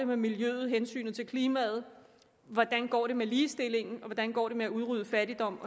med miljøet hensynet til klimaet hvordan det går med ligestillingen og hvordan det går med at udrydde fattigdom